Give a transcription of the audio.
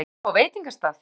Vaska upp á veitingastað?